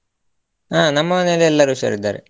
ಹ ನಮ್ಮ ಮನೆಯಲ್ಲಿ ಎಲ್ಲರು ಹುಷಾರಿದ್ದಾರೆ.